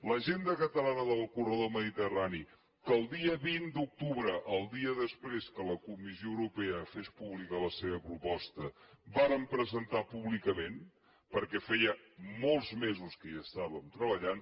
l’agenda catalana del corredor mediterrani que el dia vint d’octubre el dia després que la comissió europea fes pública la seva proposta vàrem presentar públicament perquè feia molts mesos que hi estàvem treballant